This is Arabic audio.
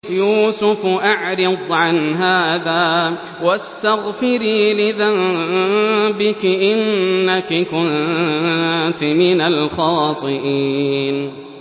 يُوسُفُ أَعْرِضْ عَنْ هَٰذَا ۚ وَاسْتَغْفِرِي لِذَنبِكِ ۖ إِنَّكِ كُنتِ مِنَ الْخَاطِئِينَ